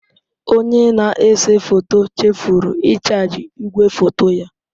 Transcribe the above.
Onye na-ese foto chefuru ịchaji igwefoto ya.